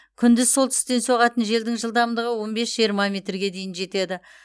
күндіз солтүстіктен соғатын желдің жылдамдығы он бес жиырма метрге дейін жетеді